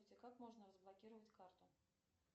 как можно разблокировать карту